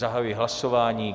Zahajuji hlasování.